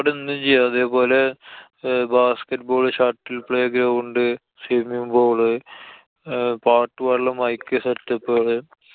അവടെ എന്തും ചെയ്യാം. അതേപോലെ ഏർ basket ball, shuttle playground, swimmimg pool അഹ് പാട്ട് പാടല്. mike setup കള്.